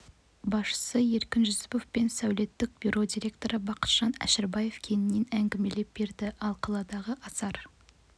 басшысы еркін жүсіпов пен сәулеттік бюро директоры бақытжан әшірбаев кеңінен әңгімелеп берді ал қаладағы асар